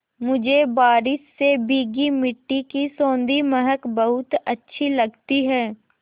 मुझे बारिश से भीगी मिट्टी की सौंधी महक बहुत अच्छी लगती है